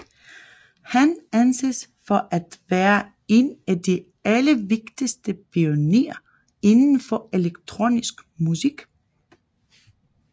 Han anses for at være en af de allervigtigeste pionerer inden for elektronisk musik